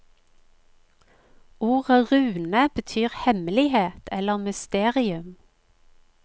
Ordet rune betyr hemmelighet eller mysterium.